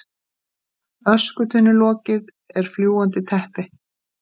Öskutunnulokið er fljúgandi teppi.